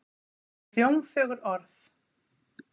Allt eru þetta hljómfögur orð.